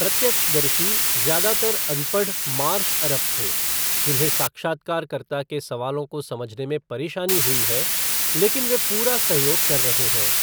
प्रत्यक्षदर्शी ज्यादातर अनपढ़ मार्श अरब थे जिन्हें साक्षात्कारकर्ता के सवालों को समझने में परेशानी हुई है लेकिन वे पूरा सहयोग कर रहे हैं।